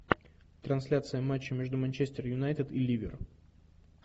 трансляция матча между манчестер юнайтед и ливер